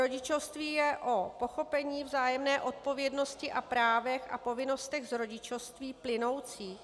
Rodičovství je o pochopení, vzájemné odpovědnosti a právech a povinnostech z rodičovství plynoucích.